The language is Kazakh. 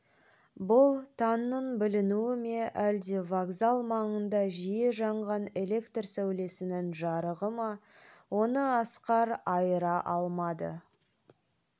бұл таңның білінуі ме әлде вокзал маңында жиі жанған электр сәулесінің жарығы ма оны асқар айыра алмады